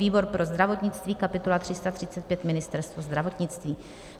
výbor pro zdravotnictví: kapitola 335 - Ministerstvo zdravotnictví,